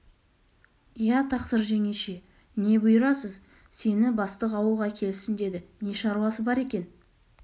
иә тақсыр жеңеше не бұйырасыз сені бастық ауылға келсін деді не шаруасы бар екен